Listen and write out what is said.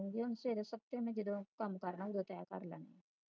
ਹੁਣ ਫਿਰ ਸਵੇਰੇ ਸਪੇ ਜਦੋ ਮੈਂ ਕੰਮ ਕਰਨਾ ਹੋਣਾ ਅਦੋ ਤਹਿ ਕਰ ਲੇਵਾ ਗਈ